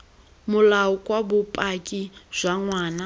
molao kwa bopaki jwa ngwana